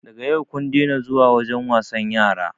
Daga yau kun dena zuwa wajen wasan yara